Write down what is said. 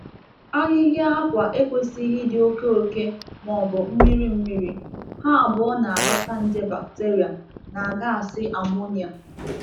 um Akwụkwọ a na-etinye n'ala ekwesịghị ịdị oke arọ maọbụ um jupụta na mmiri; ma nke um a ma ma nke a na-adọta nje bacteria na gaasi ammonia.